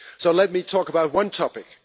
Let me talk about one topic.